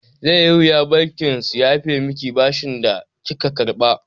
Zai yi wuya bankin su yafe miki bashin da kika karɓa.